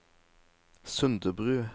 Sundebru